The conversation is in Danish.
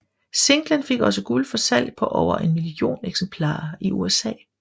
Singlen fik også guld for salg på over en million eksemplarer i USA